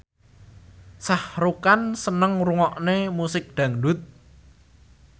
Shah Rukh Khan seneng ngrungokne musik dangdut